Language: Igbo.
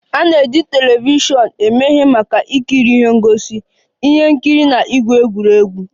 A na-eji telivishọn eme ihe maka ikiri ihe ngosi, ihe nkiri na igwu egwuregwu